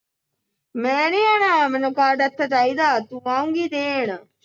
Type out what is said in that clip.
ਮੈਂ ਨੀ ਆਣਾ ਮੈਨੂੰ ਕਾਰਡ ਇਥੇ ਚਾਹੀਦਾ ਤੂੰ ਆਉਗੀ ਦੇਣ